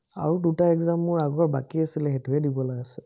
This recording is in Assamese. আৰু দুটা exam মোৰ আগৰ বাকী আছিলে সেইটোহে দিবলে আছে।